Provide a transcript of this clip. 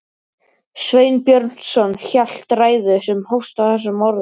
Sveinn Björnsson hélt ræðu sem hófst á þessum orðum